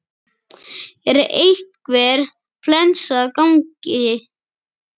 Er einhver flensa að ganga?